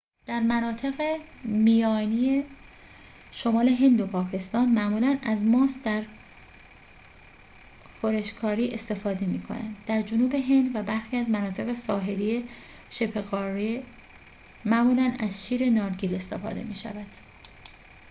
در مناطق میانی شمال هند و پاکستان معمولاً از ماست در خورش کاری استفاده می‌شود در جنوب هند و برخی از مناطق ساحلی شبه‌قاره معمولاً از شیر نارگیل استفاده می‌شود